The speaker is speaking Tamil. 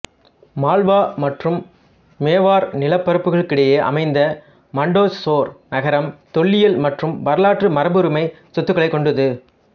மால்வா மற்றும் மேவார் நிலப்பரப்புகளுக்கிடையே அமைந்த மண்டோசோர் நகரம் தொல்லியல் மற்றும் வரலாற்று மரபுரிமைச் சொத்துகளைக் கொண்டது